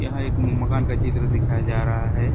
यहाँ एक मकान का चित्र दिखाया जा रहा है।